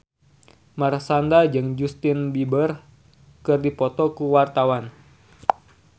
Marshanda jeung Justin Beiber keur dipoto ku wartawan